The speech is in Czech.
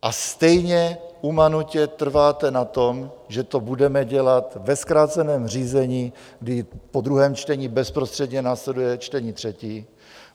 A stejně umanutě trváte na tom, že to budeme dělat ve zkráceném řízení, kdy po druhém čtení bezprostředně následuje čtení třetí.